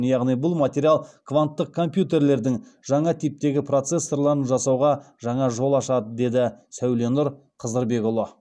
яғни бұл материал кванттық компьютерлердің жаңа типтегі процессорларын жасауға жаңа жол ашады деді сәуленұр қызырбекұлы